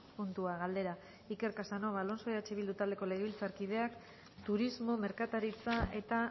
puntua galdera iker casanova alonso eh bildu taldeko legebiltzarkideak turismo merkataritza eta